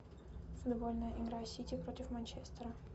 футбольная игра сити против манчестера